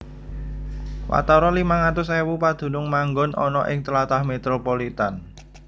Watara limang atus ewu padunung manggon ana ing tlatah metropolitan